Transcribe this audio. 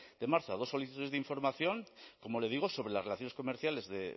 de marzo a dos solicitudes de información como le digo sobre las relaciones comerciales de